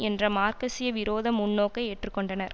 என்ற மார்க்சிய விரோத முன்னோக்கை ஏற்று கொண்டனர்